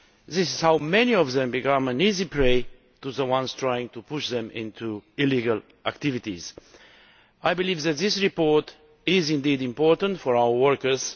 This is how many of them become easy prey for those trying to push them into illegal activities. I believe that this report is very important for our workers.